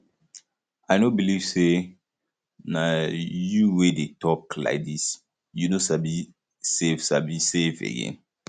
i no believe say na you wey dey talk um like dis you no sabi save sabi save again